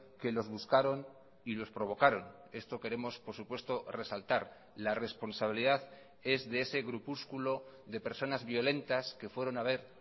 que los buscaron y los provocaron esto queremos por supuesto resaltar la responsabilidad es de ese grupúsculo de personas violentas que fueron a ver